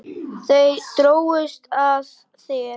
Þau drógust að þér.